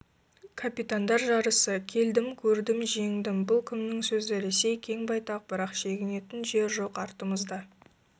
капитандар жарысы келдім көрдім жеңдім бұл кімнің сөзі ресей кең байтақ бірақ шегінетің жер жоқ артымызда